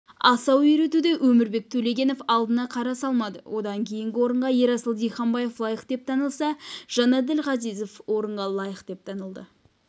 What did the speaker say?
асау үйретуде өмірбек төлегенов алдына қара салмады одан кейінгі орынға ерасыл диханбаев лайық деп танылса жанәділ ғазизов орынға лайық деп танылды